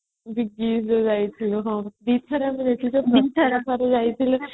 ହଁ ଦିଥର ଆମେ ଯାଇଥିଲେ